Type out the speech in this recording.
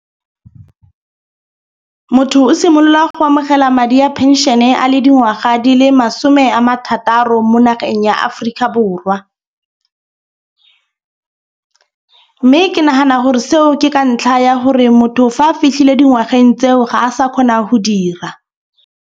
Motho o simolola go amogela madi a penšene a le dingwaga di le masome a marataro mo nageng ya Aforika Borwa. Mme ke nagana gore seo ke ka ntlha ya gore motho fa a fitlhile dingwageng tseo ga a sa kgona go dira.